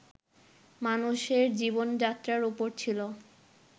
মানুষের জীবন যাত্রার উপর ছিল